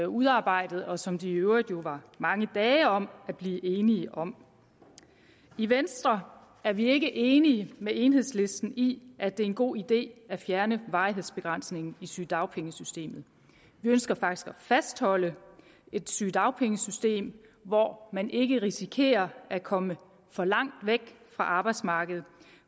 udarbejdede og som de i øvrigt var ret mange dage om at blive enige om i venstre er vi ikke enige med enhedslisten i at det er en god idé at fjerne varighedsbegrænsningen i sygedagpengesystemet vi ønsker faktisk at fastholde et sygedagpengesystem hvor man ikke risikerer at komme for langt væk fra arbejdsmarkedet